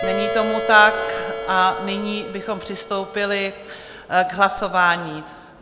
Není tomu tak a nyní bychom přistoupili k hlasování.